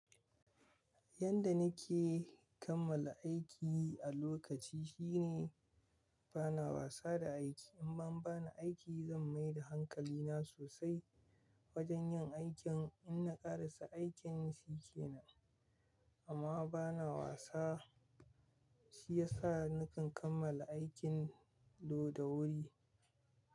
Yanda nake kammala aiki a lokaci shine bana wasa da aiki. Inma an bani aiki zan maida hankali na sosai wajen yin aikin. In na ƙarasa aikin shi kenan amma bana wasa shi yasa nakan kammala aikin da wuri.